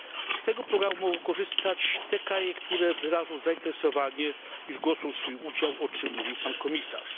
Z tego programu mogą korzystać te kraje, które wyrażą zainteresowanie i zgłoszą swój udział, o czym mówił pan komisarz.